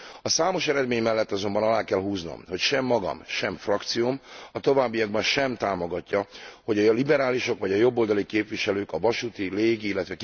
A számos eredmény mellett azonban alá kell húznom, hogy sem magam, sem frakcióm a továbbiakban sem támogatja, hogy a liberálisok vagy a jobboldali képviselők a vasúti, légi, ill.